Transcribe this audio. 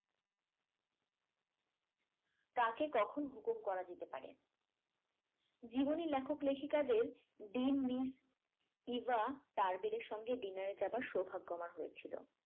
কাকে কখন হুকুম করা যেতে পারে জীবনে লেখক লেখিকাদের দিন মিস ইভা টার্বেলের সঙ্গে dinner এ যাবার সৌভাগ্য আমার হয়েছিল